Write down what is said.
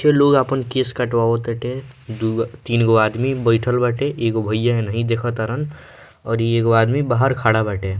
पीछे लोग आपन केश कटवाव ताटे दुगो तीनगो आदमी बइठल बाटे एगो भैया नहीं देखअ तारन और इ एगो आदमी बाहर खड़ा बाटे।